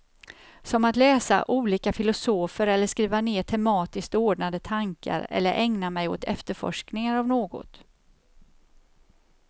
Som att läsa olika filosofer eller skriva ner tematiskt ordnade tankar eller ägna mig åt efterforskningar av något.